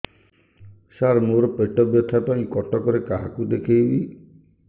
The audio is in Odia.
ସାର ମୋ ର ପେଟ ବ୍ୟଥା ପାଇଁ କଟକରେ କାହାକୁ ଦେଖେଇବି